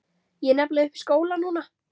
Ég er nefnilega uppi í skóla núna.